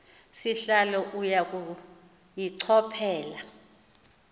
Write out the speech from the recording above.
sihlalo uya kuyichophela